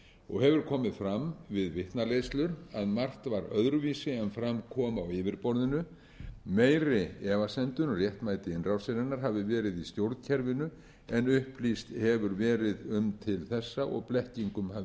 og hefur komið fram við vitnaleiðslur að margt var öðruvísi en fram kom á yfirborðinu meiri efasemdir um réttmæti innrásarinnar hafi verið í stjórnkerfinu en upplýst hefur verið um til þessa og blekkingum hafi verið